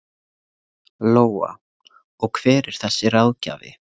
Lóa: Og hver er þessi ráðgjafi?